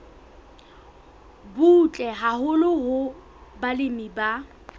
butle haholo hoo balemi ba